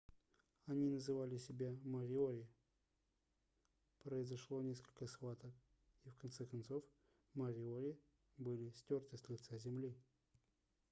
они называли себя мориори произошло несколько схваток и в конце концов мориори были стёрты с лица земли